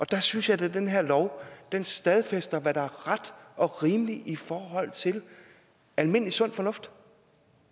der synes jeg da at den her lov stadfæster hvad der er ret og rimeligt i forhold til almindelig sund fornuft